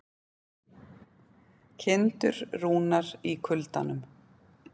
Kindur rúnar í kuldanum